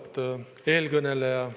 Auväärt eelkõneleja!